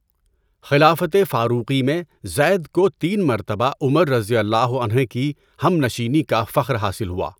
خلافت فاروقی میں زید کو تین مرتبہ عمر رضی اللّٰہ عنہ کی ہم نشینی کا فخر حاصل ہوا۔